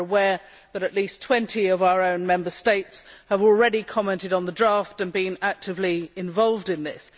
We are aware that at least 20 of our own Member States have already commented on the draft and been actively involved in this.